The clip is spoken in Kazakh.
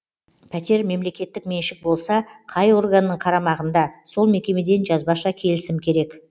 пәтер мемлекеттік меншік болса қай органның қарамағында сол мекемеден жазбаша келісім керек